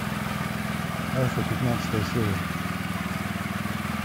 альфа пятнадцатая серия